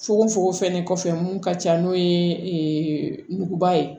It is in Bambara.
Fugofugo fɛnɛ kɔfɛ mun ka ca n'o ye muguba ye